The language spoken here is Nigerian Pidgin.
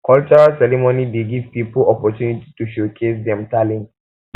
cultural ceremony dey give poeple opportunity to showcase dem talent